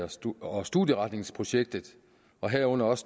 og studieretningsprojektet herunder også